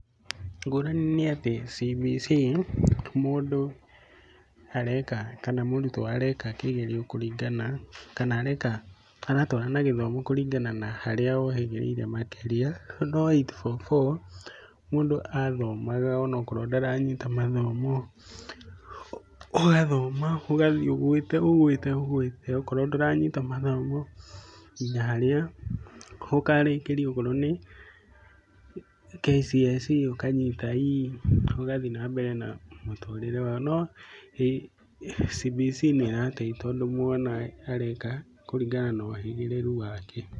Ngũrani nĩ atĩ CBC mũndũ areka kana mũrutwo areka kĩgerio kũringana kana areka, aratwarana na gĩthomo kũringana na harĩa ohĩgĩrĩire makĩria. Andũ a 8-4-4 mũndũ athomaga onakorwo ndaranyita mathomo, ũgathoma ugathiĩ ũgwĩte ũgwĩte ũgwite, okorwo ndũranyita mathomo. Nginya harĩa ũkarĩkĩria okorwo nĩ KCSE ũkanyita ii, ũgathiĩ na mbere na mũtũrĩre wao. No CBC nĩ ĩrateithia tondũ mwana areka kũringana na uhĩgĩrĩru wake.